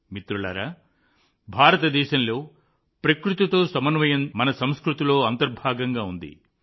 మిత్రులారా భారతదేశంలో ప్రకృతితో సమన్వయం మన సంస్కృతిలో అంతర్భాగంగా ఉంది